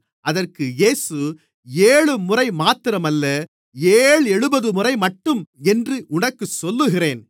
அதற்கு இயேசு ஏழுமுறை மாத்திரமல்ல ஏழெழுபதுமுறைமட்டும் என்று உனக்குச் சொல்லுகிறேன்